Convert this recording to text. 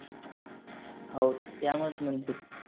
हो त्या मस म्हणत्यात.